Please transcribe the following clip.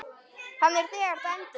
Hann er þegar dæmdur.